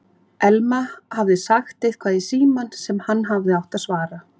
Elma hafði sagt eitthvað í símann sem hann hafði átt að svara.